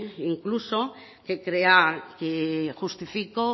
incluso que crea que justifico